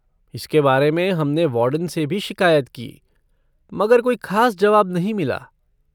इसके बारे में हम ने वार्डन से भी शिकायत की मगर कोई ख़ास जवाब नहीं मिला।